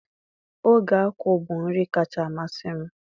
Oge akwu bụ nri kacha amasị m.